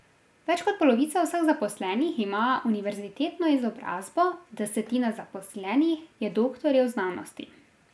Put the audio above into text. Več kot polovica vseh zaposlenih ima univerzitetno izobrazbo, desetina zaposlenih je doktorjev znanosti.